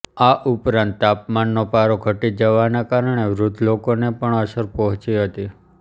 આ ઉપરાંત તાપમાનનો પારો ઘટી જવાના કારણે વૃધ્ધ લોકોને પણ અસર પહોચી હતી